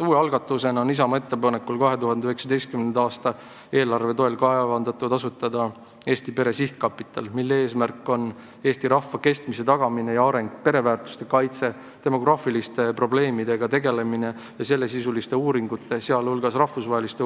Uue algatusena on Isamaa ettepanekul 2019. aasta eelarve toel kavandatud asutada Eesti pere sihtkapital, mille eesmärk on tagada meie rahva kestmine ja areng, kaitsta pereväärtusi, tegeleda demograafiliste probleemidega ja rahastada sellesisulisi uuringuid, sh rahvusvahelisi,